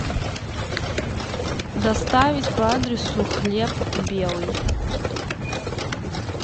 доставить по адресу хлеб белый